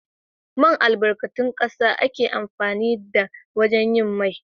Man albarkatun ƙasa ake amfani da wajen yin mai